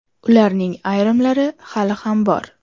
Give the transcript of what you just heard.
Ularning ayrimlari hali ham bor.